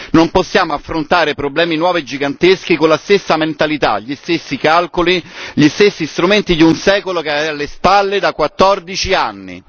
Non possiamo affrontare problemi nuovi e giganteschi con la stessa mentalità, gli stessi calcoli, gli stessi strumenti di un secolo che è alle spalle da 14 anni.